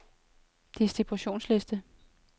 distributionsliste